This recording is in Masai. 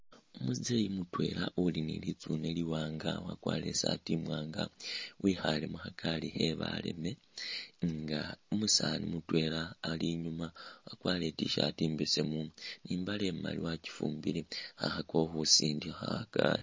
Umuzeeyi mutwela uli ni'litsune liwanga wakwarile isaati imwanga wikhale mukhagaali khebaleme nga umusaani mutwela Ali nyuma wakwarile I't-shirt imbesemu ni'mbaale imaali eakyifumbile khakhakakho khusindikha khagaali